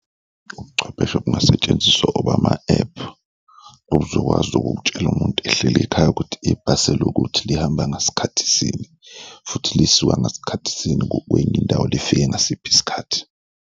Ubuchwepheshe obungasetshenziswa obama-app, okuzokwazi ukutshela umuntu ehleli ekhaya ukuthi ibhasi lokuthi lihamba ngasikhathi sini futhi lisuka ngasikhathi sini kwenye indawo, lifike ngasiphi isikhathi?